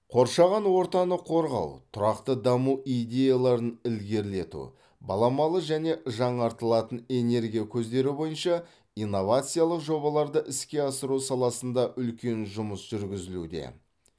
қоршаған ортаны қорғау тұрақты даму идеяларын ілгерілету баламалы және жаңартылатын энергия көздері бойынша инновациялық жобаларды іске асыру саласында үлкен жұмыс жүргізілуде